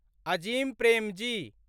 Azim Premji